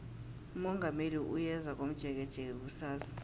umongameli uyeza komjekejeke kusasa